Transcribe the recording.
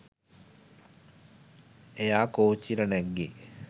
එයා කෝච්චියට නැග්ගෙ